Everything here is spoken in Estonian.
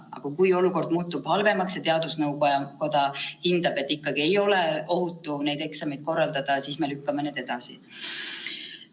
Aga kui olukord muutub halvemaks ja teadusnõukoda hindab, et ikkagi ei ole ohutu neid eksameid korraldada, siis me lükkame need edasi.